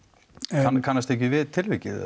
en kannastu ekki við tilvikið